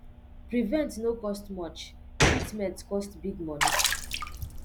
prevent no cost much treatment cost big money